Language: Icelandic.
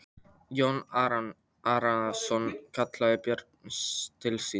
Jón Arason kallaði börnin til sín.